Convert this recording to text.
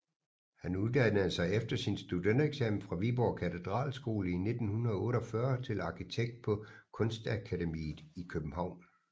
Han uddannede sig efter sin studentereksamen fra Viborg Katedralskole i 1948 til arkitekt på Kunstakademiet i København